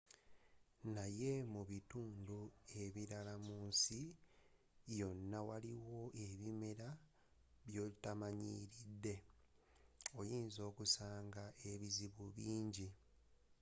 naye mu bitundu ebilala mu nsi yona awali ebimera byotamanyilidde oyinza okusanga ebizibu bingi